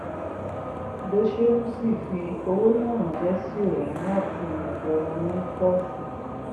cs] dosheim sì fi owó náà ránṣẹ́ sí ohun láti ọ̀dọ̀ òní pọ́s kan